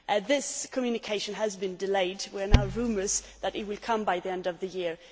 This communication has been delayed there are now rumours that it will come by the end of the year.